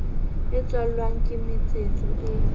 e tswalwang ke metsetso e